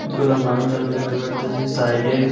মানুষ আমি দেখতে পারতেছি সাইডে।